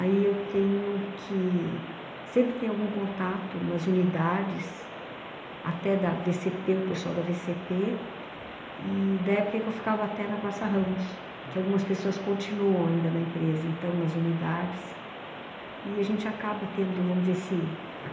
aí eu tenho que... sempre tem algum contato nas unidades, até da vê cê pê, o pessoal da vê cê pê, e da época em que eu ficava até na Praça Ramos, que algumas pessoas continuam ainda na empresa, então, nas unidades, e a gente acaba tendo, vamos dizer assim